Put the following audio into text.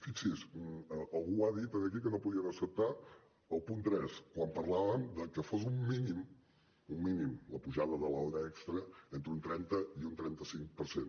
fixi’s algú ha dit aquí que no podien acceptar el punt tres quan parlàvem de que fos un mínim un mínim la pujada de l’hora extra entre un trenta i un trenta cinc per cent